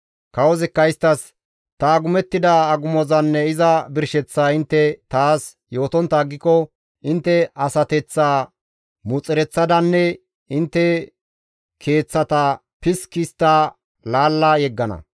Kawozikka isttas, «Ta agumettida agumozanne iza birsheththaa intte taas yootontta aggiko intte asateththaa muxereththadanne intte keeththata piski histta laalla yeggana.